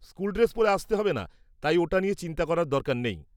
-School dress পরতে হবে না তাই ওটা নিয়ে চিন্তা করার দরকার নেই।